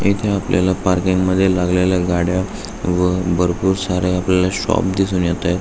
इथ आपल्याला पार्किंग मध्ये लागलेल्या गाड्या व भरपूर साऱ्या आपल्याला शॉप दिसून येताएत.